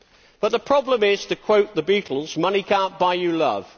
But the problem is, to quote the Beatles Money can't buy you love'.